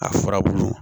A furabulu